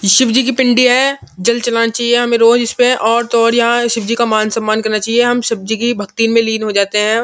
शिव जी की पिंडी है। जल चलाना चाहिए हमें रोज इसपे और तो और यहाँ शिव जी का मान सम्मान करना चाहिए। हम शिव जी की भक्ति में लीन हो जाते हैं।